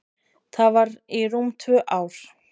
Það var í rúm tvö ár.